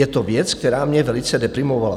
Je to věc, která mě velice deprimovala."